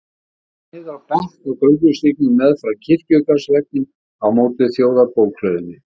Hann lak niður á bekk á göngustígnum meðfram kirkjugarðsveggnum á móti Þjóðarbókhlöðunni.